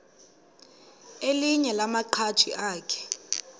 elinye lamaqhaji akhe